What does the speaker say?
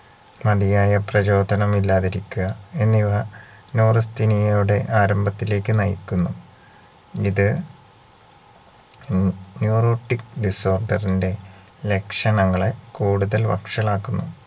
മതിയായ പ്രചോതനം ഇല്ലാതിരിക്കുക എന്നിവ neurasthenia യയുടെ ആരംഭത്തിലേക്ക് നയിക്കുന്നു ഇത് ഉം neurotic disorder ന്റെ ലക്ഷണങ്ങളെ കൂടുതൽ വഷളാകുന്നു